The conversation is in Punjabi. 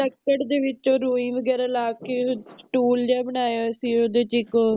ਲਕੜ ਦੇ ਵਿਚੋ ਰੁਈ ਵਗੇਰਾ ਲਾਕੇ ਸਟੂਲ ਜੇਯ ਬਨਾਯਾ ਹੋਯਾ ਸੀ ਓਹਦੇ ਚ ਇਕ ਓਹ